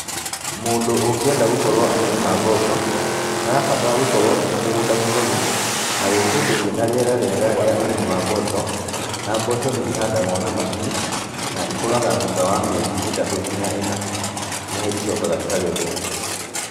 Mũndũ ũngĩenda gũkorwo akĩrĩma mboco, nĩ arabatara gũkorwo ena mũgũnda mũnoru, na wĩ kũndũ kwĩna rĩera rĩega rĩa ũrĩmi wa mboco, na mboco nĩ ihandagwo na macini, na ikũraga thutha wa mĩeri ĩtatũ nginya ĩna, nĩho icokaga ikagethwo.